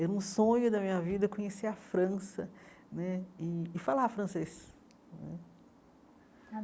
Era um sonho da minha vida conhecer a França né e falar francês eh.